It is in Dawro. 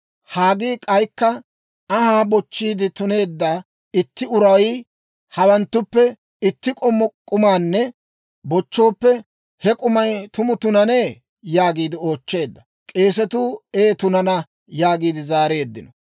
Haggii k'aykka, «Anhaa bochchiide tuneedda itti uray hawanttuppe itti k'ommo k'umaanne bochchooppe, he k'umay tumu tunanee?» yaagiide oochcheedda. K'eesatuu, «Ee tunana» yaagiide zaareeddino.